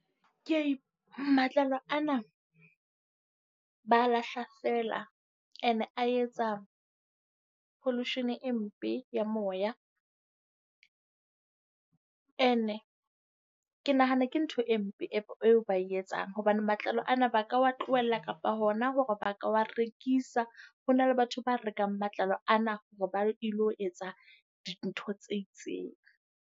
Ke a matlalo ana, ba a lahla feela. And-e a etsa pollution e mpe ya moya. Ene ke nahana ke ntho e mpe eo ba etsang hobane matlalo ana ba ka wa tlohela kapa hona hore ba ka wa rekisa. Ho na le batho ba rekang matlalo ana hore ba ilo etsa dintho tse itseng.